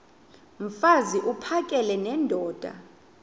mfaz uphakele nendoda